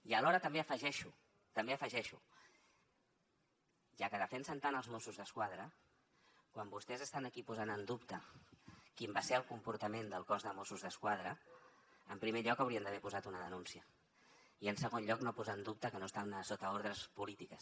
i alhora també afegeixo també ho afegeixo ja que defensen tant els mossos d’esquadra quan vostès estan aquí posant en dubte quin va ser el comportament del cos de mossos d’esquadra en primer lloc haurien d’haver posat una denúncia i en segon lloc no posar en dubte que no estan sota ordres polítiques